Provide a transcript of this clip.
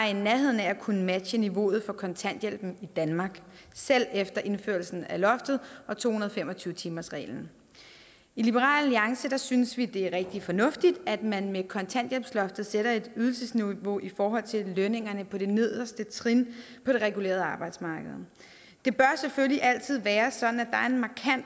i nærheden af at kunne matche niveauet for kontanthjælpen i danmark selv efter indførelsen af loftet og to hundrede og fem og tyve timersreglen i liberal alliance synes vi det er rigtig fornuftigt at man med kontanthjælpsloftet sætter et ydelsesniveau i forhold til lønningerne på det nederste trin på det regulerede arbejdsmarked det bør selvfølgelig altid være sådan